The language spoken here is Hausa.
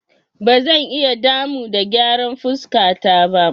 Ba zan iya damu da gyara fuskata ba.